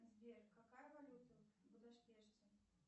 сбер какая валюта в будапеште